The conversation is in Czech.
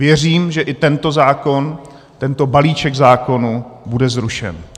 Věřím, že i tento zákon, tento balíček zákonů, bude zrušen.